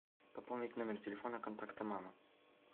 пополнить номер телефона контакта мама